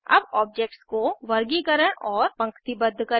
अब ऑब्जेक्ट्स को वर्गीकरण और पंक्तिबद्ध करें